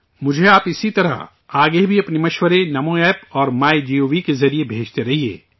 مجھے آپ اسی طرح، آگے بھی اپنے مشورے NaMoApp اور میگو کے ذریعے بھیجتے رہیے